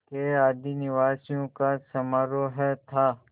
के आदिनिवासियों का समारोह था